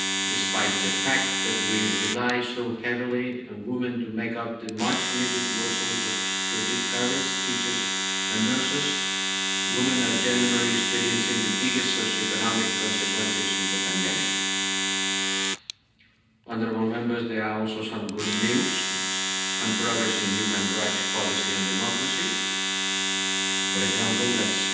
Despite the fact that we rely so heavily on women to make up the much needed workforce of carers, teachers and nurses, women are generally experiencing the biggest socio economic consequences of the pandemic. There is also some good news and progress in human rights policy and democracy. For example, let's